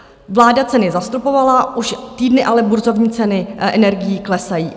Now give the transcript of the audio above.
Vláda ceny zastropovala, už týdny ale burzovní ceny energií klesají.